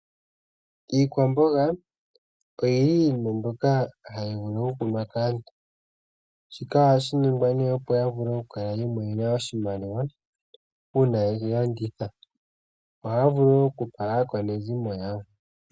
Iikwamboga yili iinima mbyoka hayi vulu okukunwa kaantu. Shika ohashiningwa opo yamone oshimaliwa uuna yeyi landitha .ohaya vulu woo okupa aakwanezimo yawo.